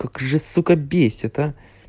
как же сука бесит а